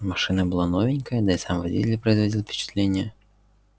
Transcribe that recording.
машина была новенькая да и сам водитель производил впечатление человека